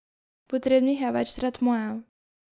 Potrebnih je več tretmajev.